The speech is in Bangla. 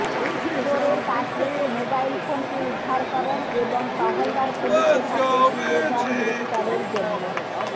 চোরের কাছ থেকে মোবাইল ফোনটি উদ্ধার করেন এবং টহলদার পুলিশের হাতে তুলে দেন গ্রেফতারের জন্য